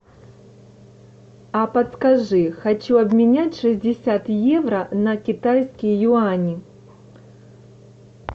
а подскажи хочу обменять шестьдесят евро на китайские юани